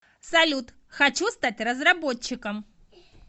салют хочу стать разработчиком